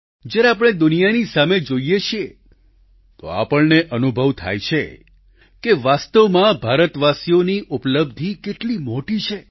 જ્યારે આપણે દુનિયાની સામે જોઈએ છીએ તો આપણને અનુભવ થાય છે કે વાસ્તવમાં ભારતવાસીઓની ઉપલબ્ધી કેટલી મોટી છે